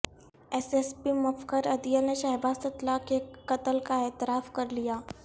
S S P Mufakhar Adeel نے شہباز تتلہ کے قتل کا اعتراف کرلیا